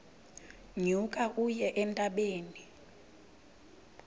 nyuka uye entabeni